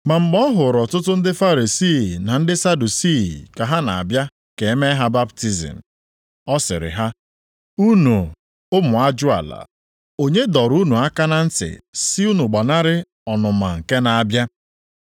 Ma mgbe ọhụrụ ọtụtụ ndị Farisii na ndị Sadusii ka ha na-abịa ka e mee ha baptizim, ọ sịrị ha, “Unu ụmụ ajụala, onye dọrọ unu aka na ntị sị unu gbanarị ọnụma nke na-abịa?